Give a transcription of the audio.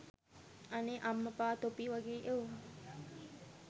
අනේ අම්මපා තොපි වගේ එවුන්